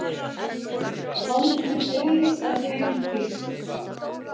Hold mitt rís af heimfýsn.